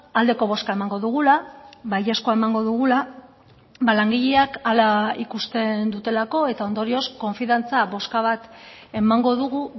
aldeko bozka emango dugula baiezkoa emango dugula langileak hala ikusten dutelako eta ondorioz konfiantza bozka bat emango dugu